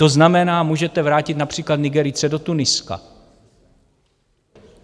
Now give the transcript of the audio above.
To znamená, můžete vrátit například Nigerijce do Tuniska.